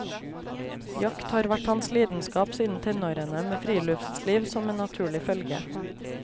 Jakt har vært hans lidenskap siden tenårene, med friluftsliv som en naturlig følge.